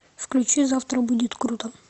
включи завтра будет круто